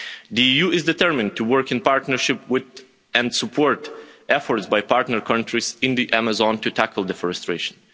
The EU is determined to work in partnership with, and support efforts by partner countries in the Amazon to tackle deforestation.